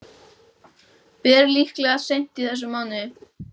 Ber líklega seint í þessum mánuði.